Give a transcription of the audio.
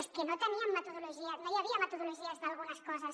és que no teníem metodologia no hi havia metodologies d’algunes coses